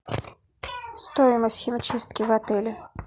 стоимость химчистки в отеле